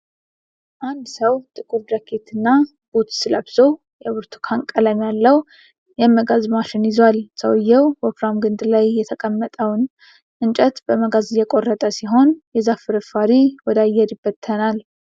አንድ ሰው ጥቁር ጃኬት እና ቡትስ ለብሶ የብርቱካን ቀለም ያለው የመጋዝ ማሽን ይዟል። ሰውየው ወፍራም ግንድ ላይ የተቀመጠውን እንጨት በመጋዝ እየቆረጠ ሲሆን፣ የዛፍ ፍርፋሪ ወደ አየር ይበተናል።